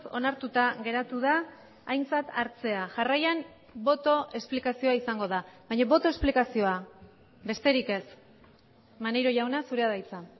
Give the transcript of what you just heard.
onartuta geratu da aintzat hartzea jarraian boto esplikazioa izango da baina boto esplikazioa besterik ez maneiro jauna zurea da hitza